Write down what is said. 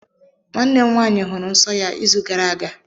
Nwanne m nwaanyị hụrụ nsọ ya izu gara aga.